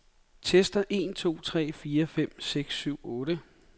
Tester en to tre fire fem seks syv otte.